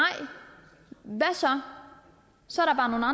hvad så så